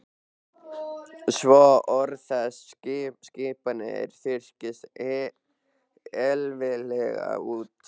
Svo orð þess og skipanir þurrkist eilíflega út.